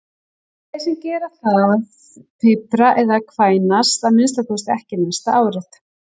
Þeir sem gera það pipra eða kvænast að minnsta kosti ekki næsta árið.